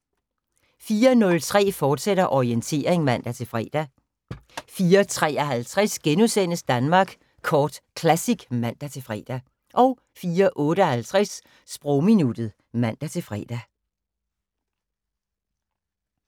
04:03: Orientering, fortsat (man-fre) 04:53: Danmark Kort Classic *(man-fre) 04:58: Sprogminuttet (man-fre)